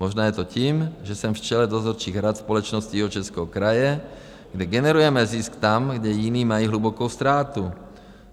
Možná je to tím, že jsem v čele dozorčích rad společností Jihočeského kraje, kde generujeme zisk tam, kde jiní mají hlubokou ztrátu.